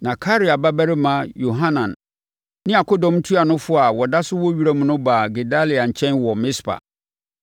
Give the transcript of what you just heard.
Na Karea babarima Yohanan ne akodɔm ntuanofoɔ a wɔda so wɔ wiram no baa Gedalia nkyɛn wɔ Mispa